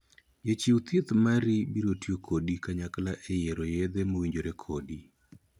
Jachiew thieth mari biro tiyo kodi kanyakla e yiero yethe mowinjore kodi.